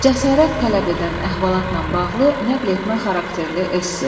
Cəsarət tələb edən əhvalatla bağlı nəqletmə xarakterli esse.